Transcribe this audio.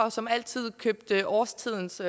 og som altid købte årstidens